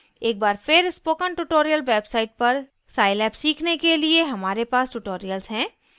एक बार फिर spoken tutorial website पर scilab सीखने के लिए हमारे पास tutorials हैं